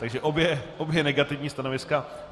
Takže obě negativní stanoviska.